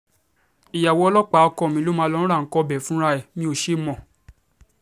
ìyàwó ọlọ́pàá ọkọ mi ló máa ń lọo ra nǹkan ọbẹ̀ fúnra ẹ̀ mi ò ṣe mọ́